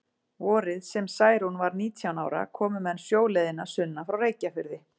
Vorið sem Særún var nítján ára komu menn sjóleiðina sunnan frá Reykjafirði.